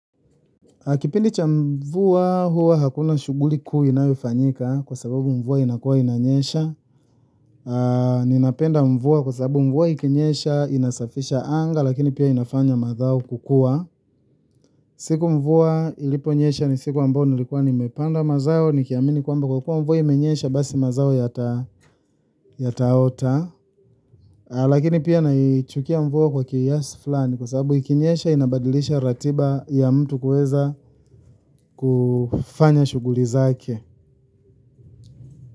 Kipindi cha mvua hua hakuna shughuli kuu inayofanyika kwa sababu mvua inakuwa inanyesha. Ninapenda mvua kwa sababu mvua ikinyesha inasafisha anga lakini pia inafanya madhau kukua. Siku mvua iliponyesha ni siku ambayo nilikuwa nimepanda mazao nikiamini kwamba kwa kuwa mvua imenyesha basi mazao yataota. Lakini pia naichukia mvuo kwa kiasi fulani kwa sababu ikinyesha inabadilisha ratiba ya mtu kuweza kufanya shughuli zake.